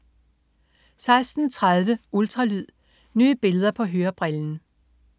16.30 Ultralyd. Nye billeder på hørebrillen